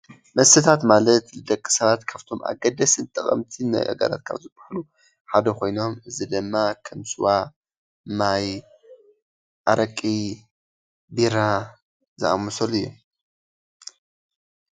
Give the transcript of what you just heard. መስተታተ ማለት ንደቂ ስባት ካብቶም አገደስትን ጠቐምትን ንአካላት ካብ ዝሀባሉ ሓደ ኮይኖም እዚ ድማ ከም ስዋ፣ ማይ፣ አረቂ፣ ቢራ ዝአመስሉ እዮም፡፡